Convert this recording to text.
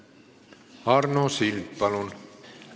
Arno Sild, palun!